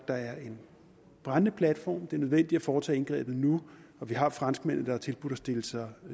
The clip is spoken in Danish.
der er en brændende platform det er nødvendigt at foretage indgrebet nu og vi har franskmændene der har tilbudt at stille sig i